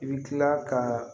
I bɛ tila ka